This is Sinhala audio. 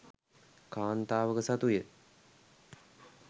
කාන්තාවක සතුය.